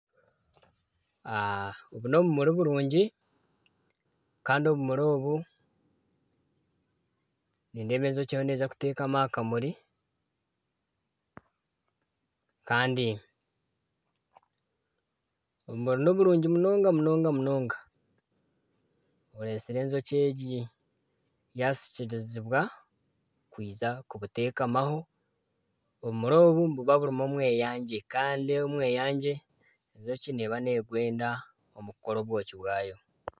Obu ni obumuri burungi kandi obumuri obu nindeeba enjoki eriyo neza kutekama aha kamuri kandi obumuri niburungi munonga munonga buretsire enjoki egi yasikirizibwa kwija kubutekamaho , obumuri obu nibuba burimu omweyangye kandi omweyangye enjoki neba negwenda omu kukora obwoki bwayo.